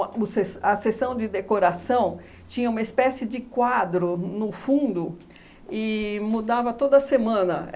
O a o se a sessão de decoração tinha uma espécie de quadro no fundo e mudava toda semana.